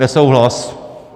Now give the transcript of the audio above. Nesouhlas.